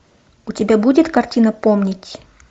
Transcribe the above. у тебя будет картина помнить